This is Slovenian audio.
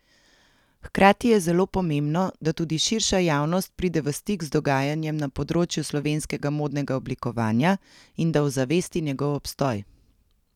Hkrati je zelo pomembno, da tudi širša javnost pride v stik z dogajanjem na področju slovenskega modnega oblikovanja in da ozavesti njegov obstoj.